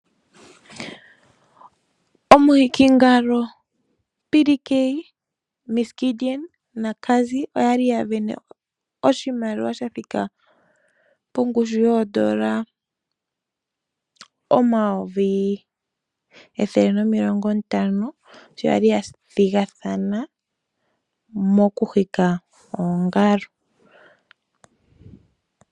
Omuhikingalo PDK, ms Gideon naCazzy oya li ya sindana oshimaliwa sha thika pongushu yooN$ 150 000 sho ya li ya thigathana po mokuhika oongalo.